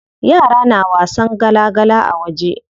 Yara na wasan gala gala a waje.